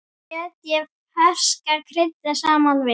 Setjið ferska kryddið saman við.